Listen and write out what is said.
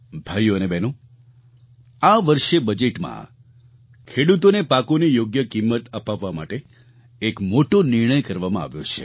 ભાઈઓ અને બહેનો આ વર્ષે બજેટમાં ખેડૂતોને પાકોની યોગ્ય કિંમત અપાવવા માટે એક મોટો નિર્ણય કરવામાં આવ્યો છે